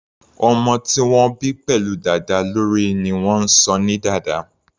Ọmọ tí wọ́n bí pẹ̀lú dàda lórí ni wọ́n ń sọ ní dàda.